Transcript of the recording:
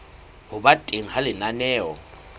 ho ba teng ha lenaneo